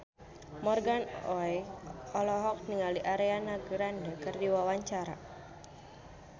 Morgan Oey olohok ningali Ariana Grande keur diwawancara